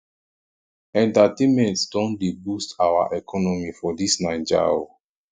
entertainment don dey boost our economy for dis naija o